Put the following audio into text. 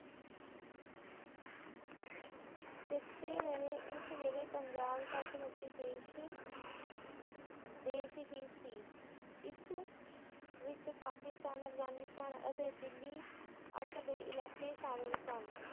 ਚੇਤੇ ਰਹੇ ਉਸ ਵੇਲੇ ਪੰਜਾਬ ਉਸ ਵੇਲੇ ਸੱਚ ਮੁੱਚ ਦੇਸ਼`ਦੇਸ਼ ਹੀ ਸੀ ਇਸ ਵਿੱਚ ਪਾਕਿਸਤਾਨ ਅਫਗਾਨਿਸਤਾਨ ਤੇ ਦਿੱਲੀ ਤੱਕ ਦੇ ਇਲਾਕੇ ਸ਼ਾਮਿਲ ਸਨ